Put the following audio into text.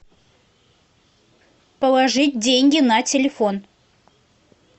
положить деньги на телефон